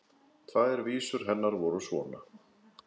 Tvær vísur hennar voru svona: